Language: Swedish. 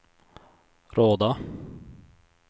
Råda